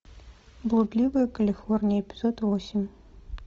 блудливая калифорния эпизод восемь